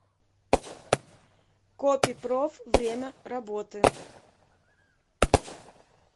копи проф время работы